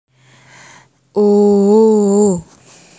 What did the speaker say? O o o